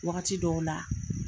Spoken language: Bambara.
Wagati dɔw la